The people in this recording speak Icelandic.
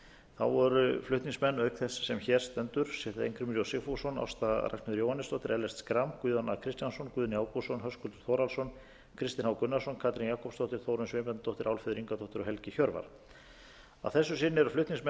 þá voru flutningsmenn auk þess sem hér stendur steingrímur j sigfússon ásta ragnheiður jóhannesdóttir ellert schram guðjón a kristjánsson guðni ágústsson höskuldur þórhallsson kristinn h gunnarsson katrín jakobsdóttir þórunn sveinbjarnardóttir álfheiður ingadóttir og helgi hjörvar að þessu sinni eru flutningsmenn